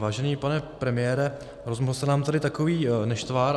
Vážený pane premiére, rozmohl se nám tady takový nešvar.